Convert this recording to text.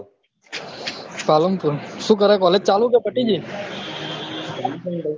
પાલનપુર સુ કરે collage ચાલુ કે પતીગઈ